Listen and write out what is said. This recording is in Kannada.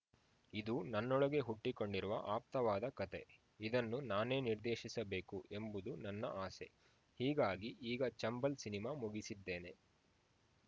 ಇದು ನನ್ನೊಳಗೆ ಹುಟ್ಟಿಕೊಂಡಿರುವ ಆಪ್ತವಾದ ಕತೆ ಇದನ್ನು ನಾನೇ ನಿರ್ದೇಶಿಸಬೇಕು ಎಂಬುದು ನನ್ನ ಆಸೆ ಹೀಗಾಗಿ ಈಗ ಚಂಬಲ್‌ ಸಿನಿಮಾ ಮುಗಿಸಿದ್ದೇನೆ